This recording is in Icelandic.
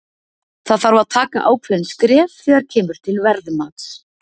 Það þarf að taka ákveðin skref þegar kemur til verðmats.